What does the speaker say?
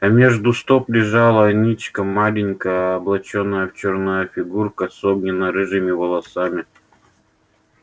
а между стоп лежала ничком маленькая облачённая в чёрное фигурка с огненно-рыжими волосами